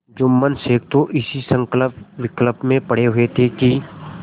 जुम्मन शेख तो इसी संकल्पविकल्प में पड़े हुए थे कि